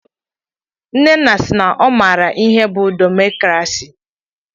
Nnenne sị na ọ maara ihe bụ demokrasi.